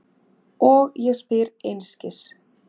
Og ég spyr einskis.